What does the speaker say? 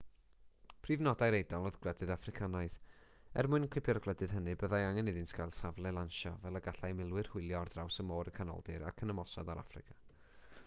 prif nodau'r eidal oedd gwledydd affricanaidd er mwyn cipio'r gwledydd hynny byddai angen iddynt gael safle lansio fel y gallai milwyr hwylio ar draws môr y canoldir ac ymosod ar affrica